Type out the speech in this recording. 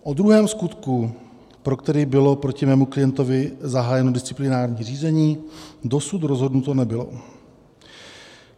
O druhém skutku, pro který bylo proti mému klientovi zahájeno disciplinární řízení, dosud rozhodnuto nebylo.